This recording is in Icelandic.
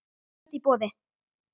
Tvennt í boði.